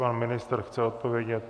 Pan ministr chce odpovědět.